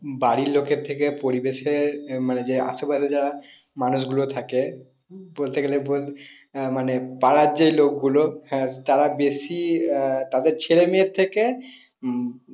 বাড়ির লোকের থেকে পরিবেশ এর মানে আশেপাশের যারা মানুষ গুলো থাকে বলতে গেলে তো আহ মানে পাড়ার যে লোক গুলো তাদের বেশি আহ তাদের ছেলেমেয়ের থেকে উম